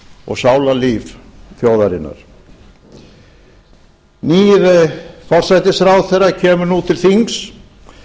og sálarlíf þjóðarinnar nýr forsætisráðherra kemur nú til þings